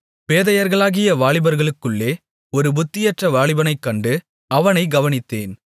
பேதையர்களாகிய வாலிபர்களுக்குள்ளே ஒரு புத்தியற்ற வாலிபனைக்கண்டு அவனை கவனித்தேன்